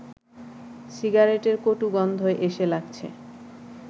সিগারেটের কটু গন্ধ এসে লাগছে